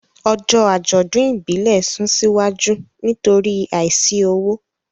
Ọjọ́ àjọ̀dún ìbílẹ̀ sún síwájú nítorí àìsí owó.